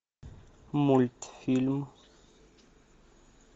мультфильм